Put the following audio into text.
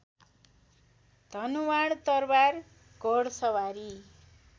धनुवाण तरबार घोडसवारी